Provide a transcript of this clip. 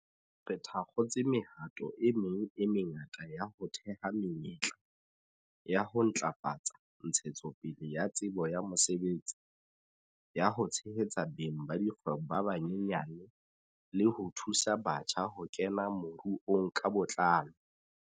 Re thakgotse mehato e meng e mengata ya ho theha menyetla, ya ho ntlafatsa ntshetsopele ya tsebo ya mosebetsi, ya ho tshehetsa beng ba dikgwebo ba banyenyane le ho thusa batjha ho kena moruong ka botlalo.